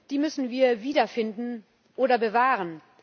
Die müssen wir wiederfinden oder bewahren.